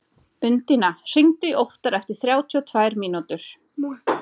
Undína, hringdu í Óttar eftir þrjátíu og tvær mínútur.